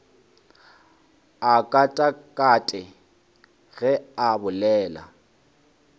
a katakate ge a bolela